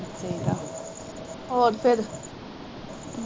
ਹੋਰ ਫਿਰ